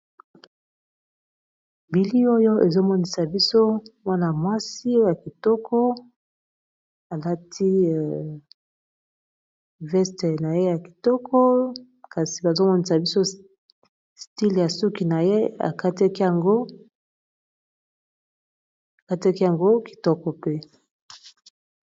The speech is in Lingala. bili oyo ezomonisa biso mwana mwasi ya kitoko alati veste na ye ya kitoko kasi bazomonisa biso stile ya suki na ye akataki yango kitoko pe